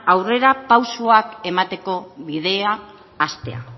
aurrerapausoak emateko bidea hastea